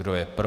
Kdo je pro?